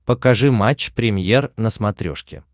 покажи матч премьер на смотрешке